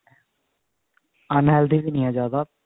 unhealthy ਵੀ ਨਹੀ ਹੈ ਜਿਆਦਾ